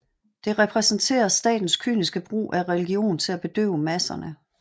Det repræsenterer statens kyniske brug af religion til at bedøve masserne